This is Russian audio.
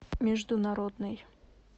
международный